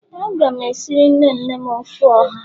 Aga m esiri nne nne m ofe oha.